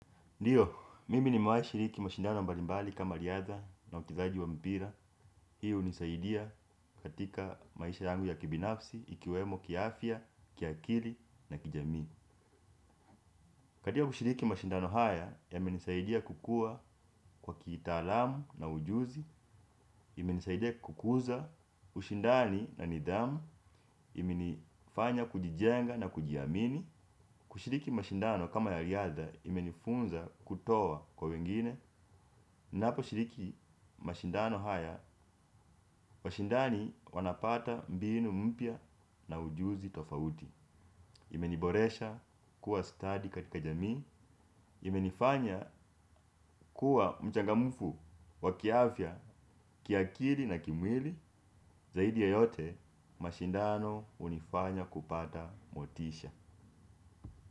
Ndiyo, mimi nimewahi shiriki mashindano mbalimbali kama riadha na uchezaji wa mpira. Hii hunisaidia katika maisha yangu ya kibinafsi, ikiwemo kiafya, kiakili na kijamii. Katika kushiriki mashindano haya, yamenisaidia kukua kwa kitaalamu na ujuzi. Imenisaidia kukuza ushindani na nidhamu, imenifanya kujijenga na kujiamini. Kushiriki mashindano kama ya riadha kimenifunza kutoa kwa wengine. Ninaposhiriki mashindano haya, washindani wanapata mbinu mpya na ujuzi tofauti. Imeniboresha kuwa stadi katika jamii, imenifanya kuwa mchangamfu kwa kiafya, kiakili na kimwili. Zaidi ya yote mashindano hunifanya kupata motisha.